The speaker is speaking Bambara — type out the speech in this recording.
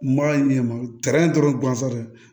Ma ɲɛ ma gansan dɛ